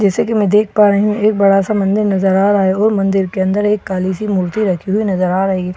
जैसे कि मैं देख पा रही हूं एक बड़ा सा मंदिर नजर आ रहा है और मंदिर के अंदर एक काली सी मूर्ति रखी हुई नजर आ रही है ।